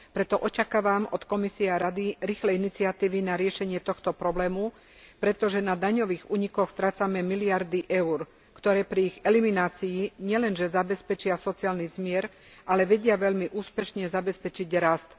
Preto očakávam od Komisie a Rady rýchle iniciatívy na riešenie tohto problému, pretože na daňových únikoch strácame miliardy eur, ktoré pri ich eliminácii nielenže zabezpečia sociálny zmier, ale vedia veľmi úspešne zabezpečiť rast.